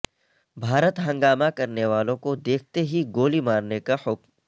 بھارت ہنگامہ کرنے والوں کو دیکھتے ہی گولی مارنے کا حکم